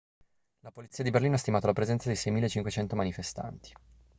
la polizia di berlino ha stimato la presenza di 6.500 manifestanti